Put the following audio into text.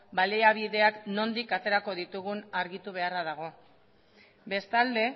baliabideak nondik aterako ditugun argitu beharra dago bestalde